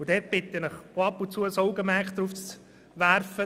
Ich bitte Sie, ihr Augenmerk auch ab und zu darauf zu legen.